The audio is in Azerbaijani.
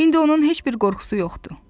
İndi onun heç bir qorxusu yoxdur.